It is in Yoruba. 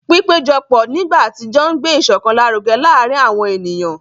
Pípéjọpọ̀ nígbà àtijọ́ ń gbé ìṣọ̀kan lárugẹ láàárín àwọn ènìyàn.